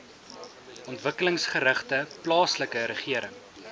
ontwikkelingsgerigte plaaslike regering